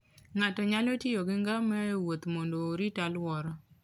Ng'ato nyalo tiyo gi ngamia e wuoth mondo orit alwora.